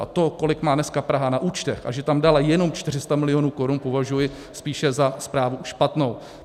A to, kolik má dneska Praha na účtech a že tam dala jenom 400 milionů korun, považuji spíše za zprávu špatnou.